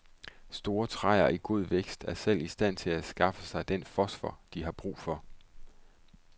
Store træer i god vækst er selv i stand til at skaffe sig den fosfor, de har brug for.